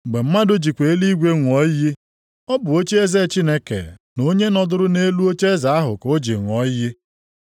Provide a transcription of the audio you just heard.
Mgbe mmadụ jikwa eluigwe ṅụọ iyi, ọ bụ ocheeze Chineke na onye nọdụrụ nʼelu ocheeze ahụ ka o ji ṅụọ iyi.